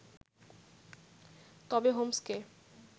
তবে হোমসকে